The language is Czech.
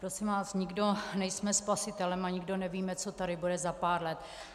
Prosím vás, nikdo nejsme spasitelem a nikdo nevíme, co tady bude za pár let.